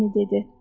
Lenny dedi.